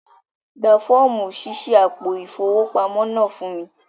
Gbà fọ̀ọ̀mú ṣíṣí àpò ifowópamọ̀ náà fún mi!